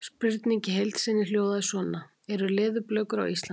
Spurningin í heild sinni hljóðaði svona: Eru leðurblökur á Íslandi?